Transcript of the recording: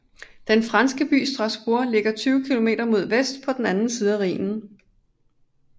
Den franske by Strasbourg ligger 20 km mod vest på den anden side af Rhinen